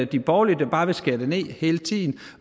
de borgerlige der bare vil skære det ned hele tiden